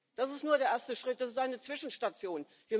Das ist nur der erste Schritt, das ist eine Zwischenstation.